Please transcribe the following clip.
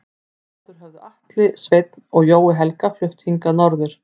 Áður höfðu Atli Sveinn og Jói Helga flutt hingað norður.